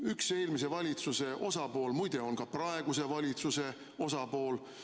Üks eelmise valitsuse osapool, muide, on ka praeguse valitsuse osapool.